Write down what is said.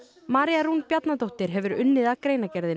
María Rún Bjarnadóttir hefur unnið að greinargerðinni